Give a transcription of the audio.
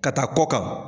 Ka taa kɔ kan